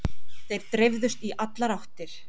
Þeir dreifðust í allar áttir.